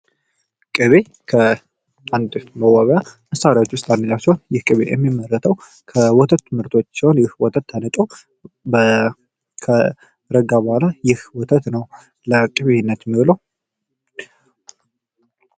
ቅቤ ከአንድ መዋቢያ መሳሪያዎች ውስጥ አንደኛው ሲሆን ይህ ቅቤ የሚመረተው ከወተቱ ምርቶች ሲሆን ይህ ወተት ተንጦ ከረጋ በኋላ ይህ ወተት ነው። ለቅቤነት የሚውለው።